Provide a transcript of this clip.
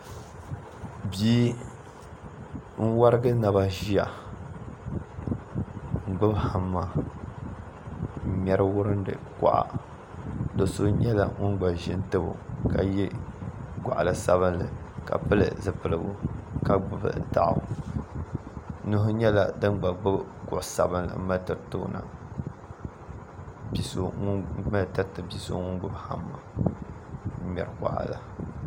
bia n-warigi naba ʒia n-gbubi hamma n-ŋmɛri wurindi kɔɣa do' so nyɛla ŋun gba ʒi n-tabi o ka ye gɔɣ' sabilinli ka pili zipiligu ka gbubi daɣu nuhi nyɛla din gba gbubi kuɣ' sabilinli m-mali tiriti bi' so ŋun gba gbubi hamma n-ŋmɛri kɔɣa la